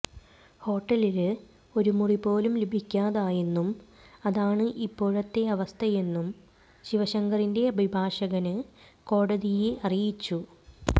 ഹോട്ടലില് ഒരു മുറിപോലും ലഭിക്കാതായെന്നും അതാണ് ഇപ്പോഴത്തെ അവസ്ഥയെന്നും ശിവശങ്കറിന്റെ അഭിഭാഷകന് കോടതിയെ അറിയിച്ചു